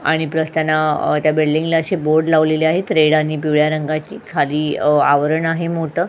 आणि वो त्या बिल्डिंगला बोर्ड लावलेले आहेत रेड आणि पिवळ्या रंगाची खाली अ आवरण आहे मोठ.